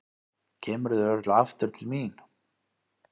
Kemurðu örugglega aftur til mín?